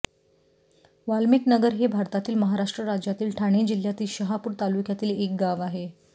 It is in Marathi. वाल्मिकनगर हे भारतातील महाराष्ट्र राज्यातील ठाणे जिल्ह्यातील शहापूर तालुक्यातील एक गाव आहे